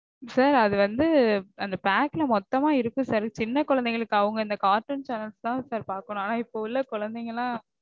sir அது வந்து அந்த pack ல மொத்தமா இருக்கு sir சின்ன கொழந்தைங்களுக்கு. அவங்க இந்த cartoon chanels தா sir பாக்கனும். ஆனா இப்போ உள்ள குழந்தைங்கலாம்